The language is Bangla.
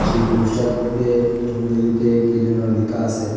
সেই পোস্টারের মইদ্যে ইংরেজীতে কি যেন লিকা আসে।